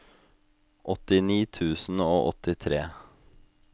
åttini tusen og åttitre